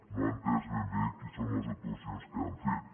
no ha entès ben bé quines són les actuacions que han fet